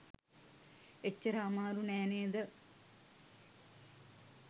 එච්චර අමාරු නෑ නෙද?